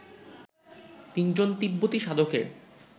তিনজন তিব্বতী সাধকের